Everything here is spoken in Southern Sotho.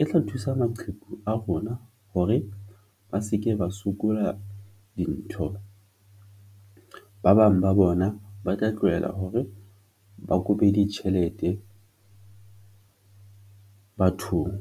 e tla thusa maqheku a rona hore ba se ke ba sokola dintho, ba bang ba bona ba tla tlohela hore ba kope ditjhelete bathong.